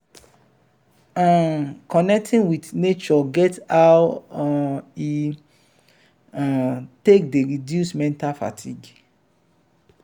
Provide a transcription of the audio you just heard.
um connecting with nature get how um e um take dey reduce mental fatigue